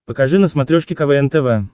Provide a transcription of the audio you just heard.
покажи на смотрешке квн тв